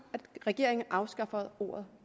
regeringen afskaffer ordet